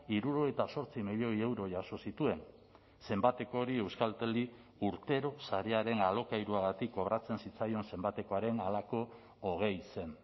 hirurogeita zortzi milioi euro jaso zituen zenbateko hori euskalteli urtero sarearen alokairuagatik kobratzen zitzaion zenbatekoaren halako hogei zen